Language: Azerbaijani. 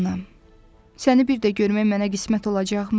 Səni bir də görmək mənə qismət olacaqmı?